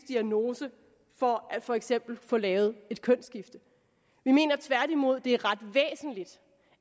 diagnose for for eksempel at få lavet et kønsskifte vi mener tværtimod det er ret væsentligt